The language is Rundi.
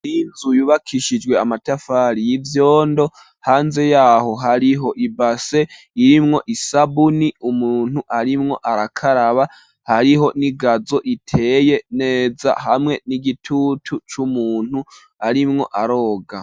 Inzu yubakishijwe amatafari y'ivyondo, hanze yaho hariho ibase irimwo isabuni umuntu arimwo arakaraba, hariho n'igazo iteye neza hamwe n'igitutu c'umuntu arimwo aroga.